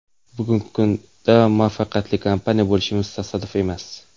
Bugungi kunda muvaffaqiyatli kompaniya bo‘lishimiz tasodif emas.